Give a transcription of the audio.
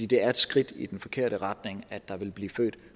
det er et skridt i den forkerte retning at der vil blive født